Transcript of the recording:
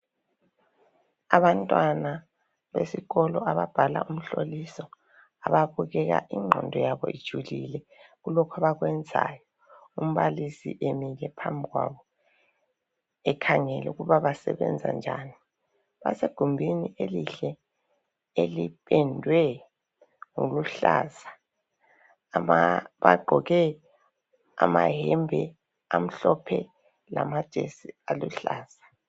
Abantwana besikolo ababhala umhloliso ababukeka ingqondo yabo ijulile kulokhu abakwenzayo, umbalisi emile phambi kwabo ekhangele ukuba basebenza njani. Basegumbini elihle elipendwe ngombala oluhlaza. Bagqoke amayembe amhlophe lamajesi aluhlaza.